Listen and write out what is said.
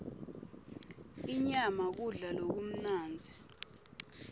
inyama kudla lokumnandzi